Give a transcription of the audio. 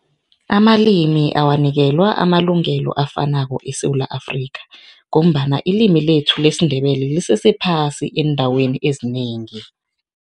Amalimi awanikelwa amalungelo afanako eSewula Afrika ngombana, ilimi lethu lesiNdebele lisese phasi eendaweni ezinengi.